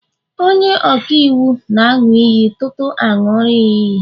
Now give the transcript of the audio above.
onye-ọka-iwu nāṅu iyi tutu aṅuri ha iyi